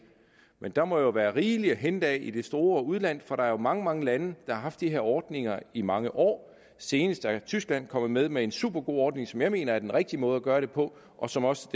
der må jo være rigeligt at hente i det store udland for der er mange mange lande der har haft de her ordninger i mange år senest er tyskland kommet med med en supergod ordning som jeg mener er den rigtige måde at gøre det på og som også